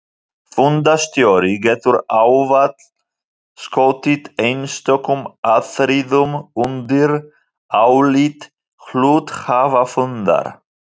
Fundarstjóri getur ávallt skotið einstökum atriðum undir álit hluthafafundar.